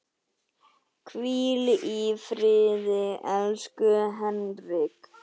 Hvíl í friði, elsku Henrik.